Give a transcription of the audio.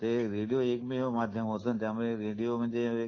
माध्यम आहे त्यामुळे ऑडिओ मध्ये एक